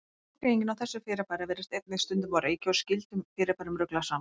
Skilgreiningin á þessu fyrirbæri virðist einnig stundum á reiki og skyldum fyrirbærum ruglað saman.